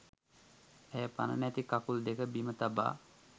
ඇය පණ නැති කකුල් දෙක බිම තබා